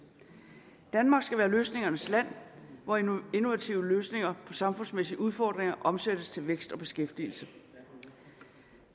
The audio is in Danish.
danmark skal være løsningernes land hvor de innovative løsninger de samfundsmæssige udfordringer omsættes til vækst og beskæftigelse